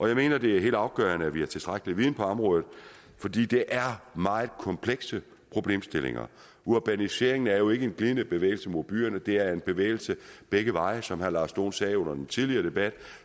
jeg mener at det er helt afgørende at vi har tilstrækkelig viden på området fordi det er meget komplekse problemstillinger urbaniseringen er jo ikke en glidende bevægelse mod byerne det er en bevægelse begge veje som herre lars dohn sagde under den tidligere debat